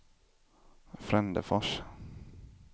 Frändefors